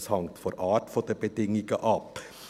» Es hängt von der Art der Bedingungen ab.